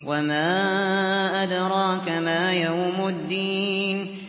وَمَا أَدْرَاكَ مَا يَوْمُ الدِّينِ